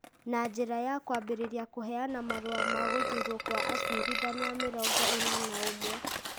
na njĩra ya kwambĩrĩria kũheana marũa ma gũthuurwo kwa acirithania mĩrongo ĩna na ũmwe ,